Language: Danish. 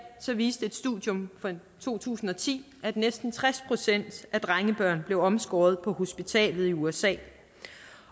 viste et studium fra to tusind og ti at næsten tres procent af drengebørn blev omskåret på hospital i usa